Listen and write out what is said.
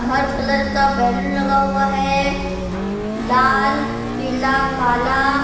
हर colour का balloon लगा हुआ है लाल पीला काला--